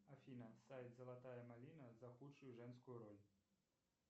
афина сайт золотая малина за худшую женскую роль